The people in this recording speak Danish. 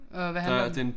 Åh hvad handler den